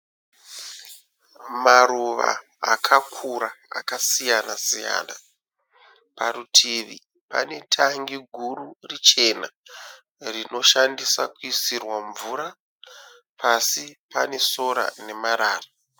Maruva akakura akasiyana siyana. Parutivi pane tangi guru richena rinoshandiswa kuisirwa mvura. Pasi pane sora nemarara.